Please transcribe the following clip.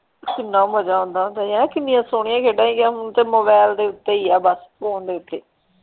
ਕਿੰਨਾ ਮਜ਼ਾ ਆਉਂਦਾ ਹੁੰਦਾ ਸੀ ਹੈਨਾ ਕਿੰਨੀਆਂ ਸੋਹਣੀਆਂ ਖੇਡਾਂ ਸਿਗੀਆਂ ਹੁਣ ਤੇ ਮੋਬਾਈਲ ਦੇ ਉੱਤੇ ਹੀ ਆ ਬੱਸ ਫੋਨ ਦੇ ਉੱਤੇ।